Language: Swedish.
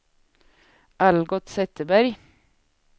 Algot Zetterberg